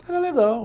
Era legal.